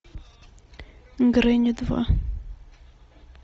гренни два